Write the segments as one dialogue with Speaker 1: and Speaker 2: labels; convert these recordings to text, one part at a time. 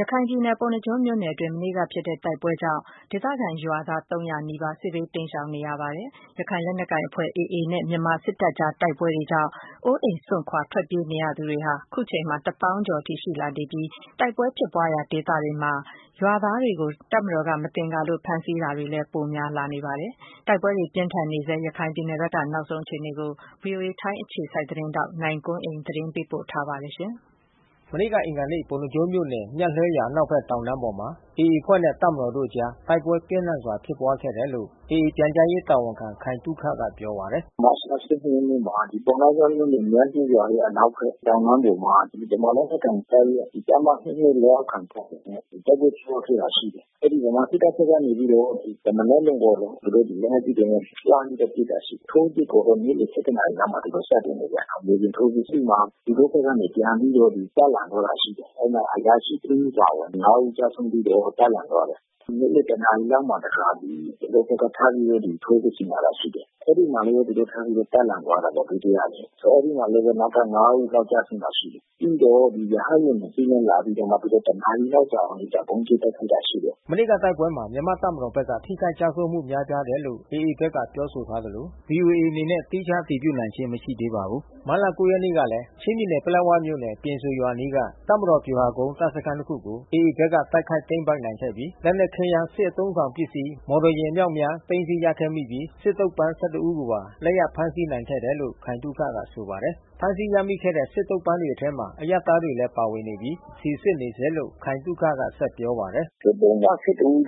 Speaker 1: ရခိုင်ပြည်နယ်၊ ပုဏ္ဏားကျွန်းမြို့နယ်အတွင်း မနေ့က ဖြစ်ပွားတဲ့ တိုက်ပွဲကြောင့် ဒေသခံ ရွာသား (၃၀၀)နီးပါး စစ်ဘေး တိမ်းရှောင်နေရပါတယ်။ ရခိုင်လက်နက်ကိုင်အဖွဲ့ AA နဲ့ မြန်မာ စစ်တပ်ကြား တိုက်ပွဲတွေကြောင့် အိုးအိမ်စွန့်ခွာထွက်ပြေးနေရသူတွေဟာ ခုချိန်မှာ သောင်းဂဏန်းအထိ ရှိလာနေပြီး တိုက်ပွဲဖြစ်ပွားရာဒေသတွေမှာ ရွာသားတွေကို တပ်မတော်က မသင်္ကာလို့ ဖမ်းဆီးတာတွေလည်း ပိုများလာနေပါတယ်။ တိုက်ပွဲတွေ ပြင်းထန် နေဆဲ ရခိုင်ပြည်နယ်ဘက်က နောက်ဆုံးအခြေအနေကို ဗွီအိုအေ ထိုင်းအခြေစိုက် သတင်းထောက် နိုင်ကွန်းအိန်က သတင်းပေးပို့ထားပါတယ်။ မနေ့က အင်္ဂါနေ့မှာ ပုဏ္ဏားကျွန်းမြို့နယ် “မြတ်လှဲရွာ”အနောက်ဖက် တောင်တန်းပေါ်မှာ AAအဖွဲ့နဲ့ တပ်မတော် တို့အကြားတိုက်ပွဲပြင်းထန်စွာဖြစ်ပွား ခဲ့တယ်လို့ AAပြန်ကြားရေး တာဝန်ခံ ခိုင်သုခ ကပြောပါတယ်။
Speaker 2: “မတ်လ(၁၂)ရက်နေ့မှာ ပုဏ္ဏားကျွန်းမြို့နယ် “မြတ်လှဲရွာ”အနောက်ဖက် တောင်တန်း ပေါ်မှာ ဗမာလက်နက်ကိုင်တပ်ရဲ့ တပ်မ(၂၂)လက်အောက်ခံ တပ်တွေနဲ့တိုက်ပွဲဖြစ်ပွား ခဲ့တာရှိတယ်။ ဗမာစစ်တပ်ဖက်ကနေပြီးတော့ တမနက်လုံးပေါ့ နော်။ သူတို့ လက်နက်ကြီးတွေနဲ့ လှမ်းပြီးတော့ ပစ်တာရှိတယ်။ ထိုးစစ်ကို နံနက်(၁၁)နာရီလောက်မှ သူတို့ စတင် တယ် ဗျ။ မြေပြင်ထိုးစစ် အဲဒီမှာ သူတို့ဖက်မှာ ပြန်ပြီးတော့ တပ်လန့် ရှိတယ်။ အဲဒီမှာ အရာရှိတဦးအပါအဝင် (၅)ဦး ကျဆုံးပြီးတော့ တပ်လန့် ထားတယ်။ နေ့လယ် တနာရီလောက်မှာတခါ သူတို့ဘက်ကထပ်ပြီး ထိုးစစ်ဆင်လာတာ ရှိတယ်။ အဲဒီမှာလဲသူတို့ထပ်ပြီးတော့ တပ်လန့်ထားတယ် ဒုတိယအကြိမ်။ အဲဒီမှာလဲ နောက်ထပ်(၅)ဦး ကျဆုံးတာ ရှိတယ်။ ပြီးတော့ ရဟတ်ယာဉ်(၂)စီးနဲ့လာပြီးတော့မှ သူတို့တန
Speaker 1: ာရီလောက်တောင် ဗုံးကြဲ တိုက်ခိုက်တာရှိတယ်။” မနေ့ကတိုက်ပွဲမှာမြန်မာ့တပ်မတော်ဘက်က ထိခိုက်ကျဆုံးမှု များပြားတယ် လို့ AAဘက်က ပြောဆိုထားသလို VOA အနေနဲ့သီးခြား အတည်ပြုနိုင်ခြင်း မရှိသေးပါဘူး။ မတ်လ(၉)ရက်နေ့ကလဲ ချင်းပြည်နယ် ပလက်ဝမြို့နယ် ပြင်ဆိုရွာအနီးက တပ်မတော် ဗျူဟာကုန်းတပ်စခန်း တခုကို AAဘက်က တိုက်ခိုက် သိမ်းပိုက်နိုင်ခဲ့ပြီး လက်နက်ခဲယမ်း စစ်အသုံးဆောင်ပစ္စည်း မော်တော်ယာဉ် အမြောက်အများ သိမ်းဆည်းရရှိခဲ့ပြီး စစ်သုံ့ပန်း (၁၁)ဦး ကိုပါ လက်ရ ဖမ်းဆီးနိုင်ခဲ့တယ်လို့ ခိုင်သုခကဆိုပါတယ်။ ဖမ်းဆီးရမိခဲ့တဲ့ စစ်သုံ့ပန်းတွေထဲ အရပ်သားတွေလည်း ပါဝင်နေပြီး စီစစ်နေ ဆဲလို့ ခိုင်သုခက ဆက်ပြောပါတယ်။ “စစ်သုံ့ပန်း
Speaker 2: (၁၁)ဦး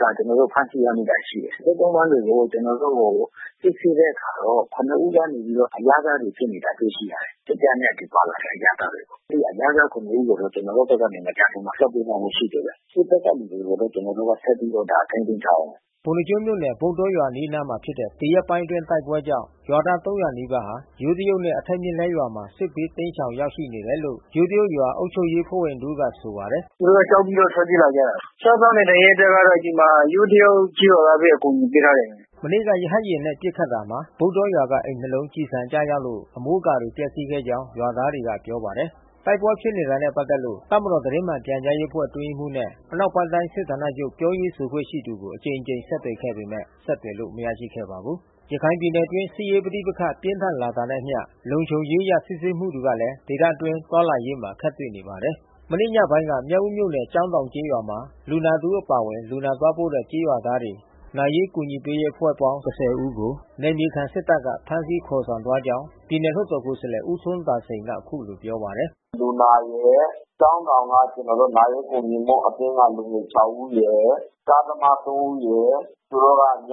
Speaker 2: က ကျွန်တော်တို့ဖမ်းဆီးရမိတာရှိတယ်။ စစ်သုံ့ပန်းကို ကျွန်တော်တို့စစ်ဆေးတဲ့အခါတော့ (၇)ဦးကနေပြီးတော့ အရပ်သားတွေဖြစ်နေတာ စစ်ဆေး တွေ့ရှိရတယ်။ စစ်တပ်နဲ့အတူပါလာတဲ့ အရပ်သားတွေ။ အဲဒီ အရပ်သား(၇)ဦး ကို ကျွန်တော်တို့ဖက်က မကြာခင်မှာ လွှတ်ပေးသွားဖို့ ရှိတယ်ဗျ။ စစ်ဖက်က လူတွေကိုတော့ ကျွန်တော်တို့ဆက်ပြီးတော့ ထိန်းသိမ်းထားတယ်။
Speaker 1: ” ပုဏ္ဏားကျွန်းမြို့နယ် ဗုဒ္ဓေါရွာအနီးနားမှာဖြစ်တဲ့ ဒီရက်ပိုင်းအတွင်းတိုက်ပွဲကြောင့် ရွာသား(၃၀၀) နီးပါး ယိုးတရုတ်နဲ့ အထက်မြတ်လှဲရွာ မှာ စစ်ဘေးတိမ်းရှောင် ရောက်ရှိနေတယ်လို့ ယိုးတရုတ်ရွာ အုပ်ချုပ်ရေးအဖွဲ့ဝင်တဦးက ဆို ပါတယ်။ “တိုက်ပွဲဖြစ်တော့ သူတို့ကြောက် ပြီးတော့ ထွက်ပြေးလာကြတာ။ စားသောက်နေထိုင်ရေး ကတော့ ဒီမှာ ယိုးတရုတ်ကျေးရွာကဘဲ အကူညီပေးထား တယ်။” မန့က ရဟတ်ယာဉ်နှင့် ပစ်ခတ်တာမှာ ဗုဒ္ဓေါရွာကအိမ်၂ လုံး ကျည်ဆံတွေကျ လို့ အမိုးအကာတွေ ပျက်စီးခဲ့ကြောင်း ရွာသားတွေက ပြောပါတယ်။ တိုက်ပွဲဖြစ်ပွားနေတာနဲ့ပက်သက်လို့ တပ်မတော် သတင်းမှန်ပြန်ကြားရေးအဖွဲ့ အတွင်းရေးမှူး နဲ့ အနောက်ပိုင်း တိုင်းစစ်ဌာနချုပ် ပြောရေးဆိုခွင့်ရှိသူကို အကြိမ်ကြိမ် ဆက်သွယ်ပေမယ့်လည်း ဆက်သွယ်လို့ မရရှိခဲ့ပါဘူး။ ရခိုင်ပြည်နယ်အတွင်း စစ်ရေးပဋိပက္ခပြင်းထန်လာတာနဲ့အမျှ လုံခြုံရေးအရ စစ်ဆေးမှုတွေကလဲ ဒေသအတွင်း သွားလာရေးမှာ အခက်တွေ့နေပါတယ်။ မနေ့ညပိုင်းက မြောက်ဦးမြို့နယ် ကျောင်းတောင်ကျေးရွာမှာ လူနာတဦး အပါအဝင် လူနာသွားပို့တဲ့ ကျေးရွာသားတွေ နာရေးကူညီရေးအဖွဲ့အပေါင်း (၁၀)ဦးကို နယ်မြေခံ စစ်တပ်က ဖမ်းဆီးခေါ်ဆောင် သွားခဲ့ကြောင်း ပြည်နယ် လွှတ် တော်ကိုယ်စားလှယ် ဦးထွန်းသာစိန် ကအခုလိုပြောပါတယ်။
Speaker 2: “လူနာရယ် ကျောင်းတောင်က ကျွန်တော်တို့နာရေးကူညီမှုအသင်းက လူငယ်(၆)ဦးရယ် ကားသမား(၃)ဦးရယ် သူတို့က ည(၁၀)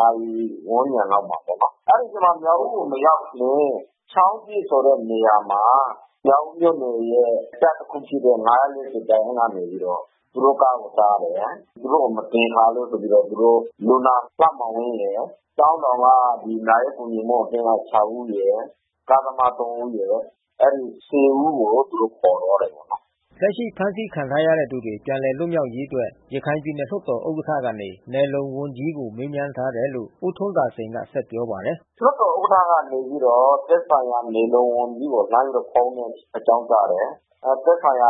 Speaker 2: နာရီဝန်းကျင်လောက်မှာပေါ့နော်။ အဲဒီအချိန်မှာ မြောက်ဦးကိုမရောက်ခင် ချောင်းသစ်ဆိုတဲ့နေရာမှာ မြောက်ဦးမြို့နယ်ရဲ့ တပ် တခုဖြစ်တဲ့ (၅၄၀)တပ်ရင်း ကနေပြီးတော့ သူတို့ကားကိုတားတယ်။ သူတို့ကို မသင်္ကာလို့ ဆိုပြီးတော့ လူနာ လှမောင်ဝင်းရယ် ကျောင်းတောင်က နာရေးကူညီမှု အသင်း က (၆)ဦးရယ်။ ကားသမား(၃)ဦးရယ်။ အဲဒီ(၁၀)ဦးကို သူတို့ခေါ်သွားတယ်ခင
Speaker 1: ်ဗျ။" လက်ရှိ ဖမ်းဆီးခံထားရတဲ့ သူတွေပြန်လည်လွတ်မြောက်ရေးအတွက် ရခိုင်ပြည်နယ် လွှတ်တော်ဥက္ကဌ ကနေ နယ်လုံဝန်ကြီးကို မေးမြန်းထားတယ်လို့ ဦးထွန်းသာစိန်က ဆက်ပြောပါတယ်။
Speaker 2: “လွှတ်တော်ဥက္ကဌ ကနေပြီးတော့ သက်ဆိုင်ရာနယ်လုံ ဝန်ကြီးကိုအကြောင်းကြားတယ်။ သက်ဆိုင်ရာ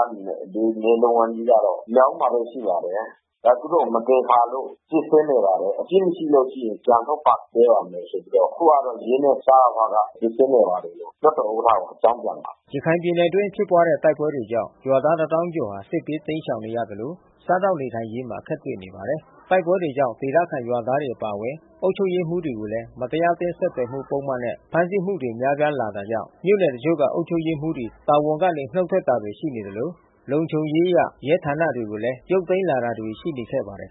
Speaker 2: နယ်လုံ ဝန်ကြီး ကတော့ မြောက်ဦးမှာ ဘဲရှိပါတယ်။ ဒါသူတို့ မသင်္ကာလို့ စစ်ဆေးနေ ပါတယ်။ အပြစ်မရှိလို့ရှိရင် ပြန်လွှတ်ပေးပါ့ မယ် ဆိုပြီးတော့ ခုကတော့ရဲနဲ့ စရဖက စီစစ်နေပါတယ်လို့ လွှတ်တော်ဥက္ကဌ ကိုအကြောင်းပြန်လာပါတ
Speaker 1: ယ်။” ရခိုင်ပြည်နယ်အတွင်းဖြစ်ပွားတဲ့ တိုက်ပွဲတွေကြောင့် ရွာသား(၁၀၀၀၀)ကျော် စစ်ဘေးတိမ်းရှောင် နေရသလို စားသောက်နေထိုင်ရေးမှာ အခက်တွေ့နေပါတယ်။ တိုက်ပွဲတွေကြောင့် ဒေသခံရွာသားတွေ အပါအဝင်အုပ်ချုပ်ရေးမှူးတွေကိုလဲ မတရားအသင်း ဆက်သွယ်မှုပုဒ်မနဲ့ ဖမ်းဆီးမှုတွေများပြားလာတာကြောင့် မြို့နယ်တချို့ က အုပ်ချုပ်ရေးမှူးတွေ တာဝန်ကနေနုတ်ထွက်တာတွေရှိ နေ သလို လုံခြုံရေးအရ ရဲဌာနတွေကိုလည်း ရုပ်သိမ်းလာတာတွေ ရှိနေခဲ့ပါတယ်